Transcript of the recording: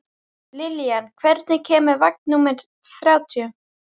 Lillian, hvenær kemur vagn númer þrjátíu?